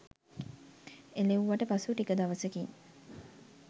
එලෙව්වට පසු ටික දවසකින්